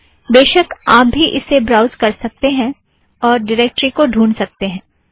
बेशक आप भी इसे ब्राउज़ कर सकते हैं और ड़िरेक्टरी को ढूँढ सकते हैं